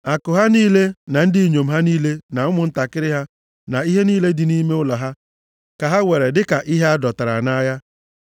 Akụ ha niile, na ndị inyom ha niile na ụmụntakịrị ha, na ihe niile dị nʼime ụlọ ha, ka ha weere dịka ihe a dọtara nʼagha.